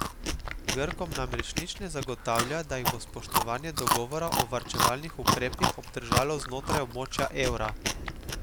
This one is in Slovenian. Grkom namreč nič ne zagotavlja, da jih bo spoštovanje dogovora o varčevalnih ukrepih obdržalo znotraj območja evra.